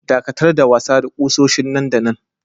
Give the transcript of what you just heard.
Daƙatar da wasa da kusoshin nan da nan!